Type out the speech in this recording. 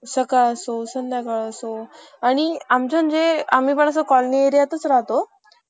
खरोखर कौतुक होत होते त्याचे त्यानंतर मी माझ्या मित्रांसोबत हा game खेळला आणि मला या game मध्ये खूप मज्जा येत होती.